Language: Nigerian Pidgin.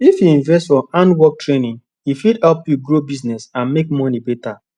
if you invest for handwork training e fit help you grow business and make money better